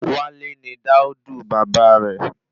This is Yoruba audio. Wale ni dáódù bàbá rẹ